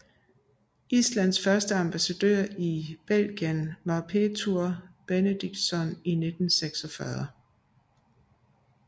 Islands første ambassadør i Belgien var Pétur Benediktsson i 1946